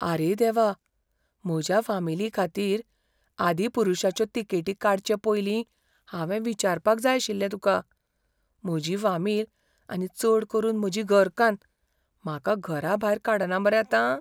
आरे देवा! म्हज्या फामिलीखातीर "आदिपुरुषा"च्यो तिकेटी काडचे पयलीं हांवें विचारपाक जाय आशिल्लें तुका. म्हजी फामील, आनी चड करून म्हजी घरकान्न, म्हाका घरा भायर काडना मरे आतां?